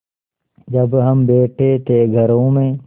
जब हम बैठे थे घरों में